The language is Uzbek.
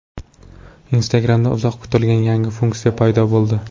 Instagram’da uzoq kutilgan yangi funksiya paydo bo‘ldi.